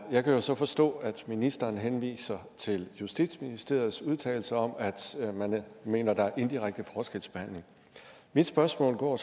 jeg kan så forstå at ministeren henviser til justitsministeriets udtalelser om at man mener at der er indirekte forskelsbehandling mit spørgsmål går